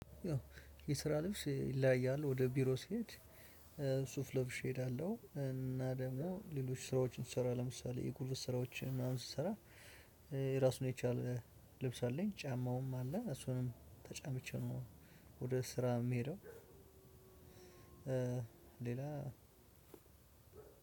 የስራ ልብስ ይለያያል ወደ ቢሮ ስሄድ ሱፍ ለብሼ እሄዳለሁ እና ደግሞ ሌሎች ስራዎችን ስሰራ ለምሳሌ የጉልበት ስራዎችን ምናምን ስሰራ። የራሱን የቻለ ልብስ አለኝ ጫማውም አለ እሱንም ተጫምቼ ነው። ወደ ስራ የምሄደው። ሌላ